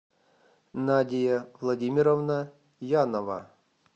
надия владимировна янова